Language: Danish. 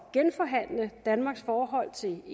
genforhandle danmarks forhold til